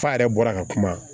F'a yɛrɛ bɔra ka kuma